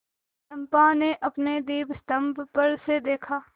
चंपा ने अपने दीपस्तंभ पर से देखा